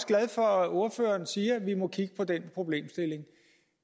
glad for at ordføreren siger at vi må kigge på den problemstilling